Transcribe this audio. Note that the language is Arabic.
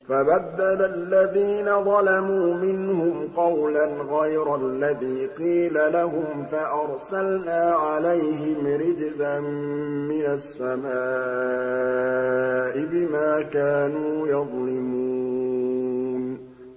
فَبَدَّلَ الَّذِينَ ظَلَمُوا مِنْهُمْ قَوْلًا غَيْرَ الَّذِي قِيلَ لَهُمْ فَأَرْسَلْنَا عَلَيْهِمْ رِجْزًا مِّنَ السَّمَاءِ بِمَا كَانُوا يَظْلِمُونَ